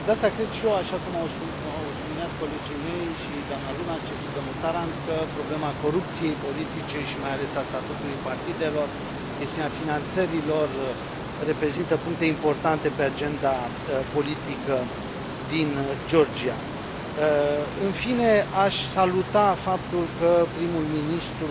De asta cred și eu, așa cum au subliniat colegii mei, și doamna Lunacek, și domnul Tarand, că problema corupției politice, și mai ales a statutului partidelor, chestiunea finanțării lor, reprezintă puncte importante pe agenda politică din Georgia. În fine, aș saluta faptul că primul ministru